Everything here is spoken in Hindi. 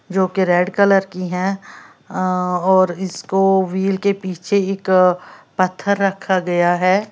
जो की रेड कलर की है और इसको व्हील के पीछे एक पत्थर रखा गया है।